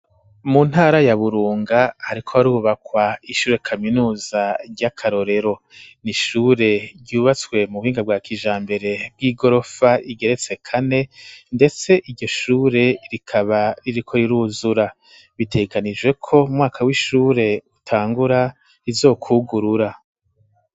Mu ntara ya burunga, ariko warubakwa ishure kaminuza ry'akarorero ni ishure ryubatswe mu buhinga bwa kija mbere bw'i gorofa igeretse kane, ndetse iryoshure rikaba ririko riruzura biteganijwe ko mwaka w'ishure utangura izokwugurura.